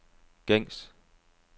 gængs